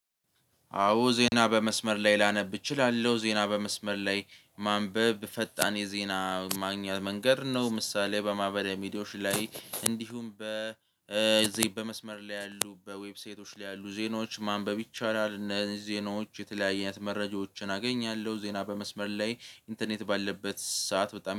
አዎ ዜና በመስመር ላይ ላነብ እችላለሁ ዜና በመስመር ላይ ማንበብ ፈጣን የዜና ማግኛ መንገድ ነው። ምሳሌ በማህበራዊ ሚዲያዎች ላይ እንዲሁም እዚህ በመስመር ላይ ያሉ በዌብሳይቶች ላይ ያሉ ዜናዎች ማንበብ ይቻላል። እነዚህ ዜናዎች የተለያየ አይነት መረጃዎችን አገኛለሁ። ዜና በመስመር ላይ ኢንተርኔት ባለበት ሰዓት በጣም